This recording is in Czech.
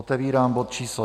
Otevírám bod číslo